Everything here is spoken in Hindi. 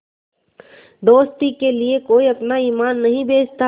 दोस्ती के लिए कोई अपना ईमान नहीं बेचता